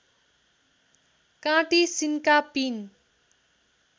काँटी सिन्का पिन